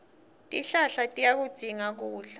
tihlahla tiyakudzinga kudla